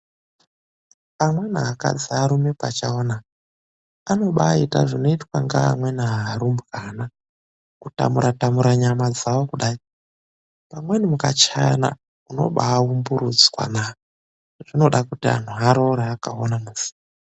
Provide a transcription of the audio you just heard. Amweni akadzi arume pachawo naaa anobaita zvinoitwa nevamweni varumbwana kutamura tamura nyama ,dzavo kudai amweni mukachayana unobaumburudzwa zvinoda kuti vanhu varoore zvakaoma muzi.